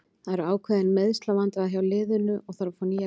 Það eru ákveðin meiðslavandræði hjá liðinu og þarf að fá nýja leikmenn.